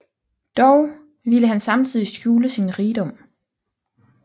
Dog ville han samtidig skjule sin rigdom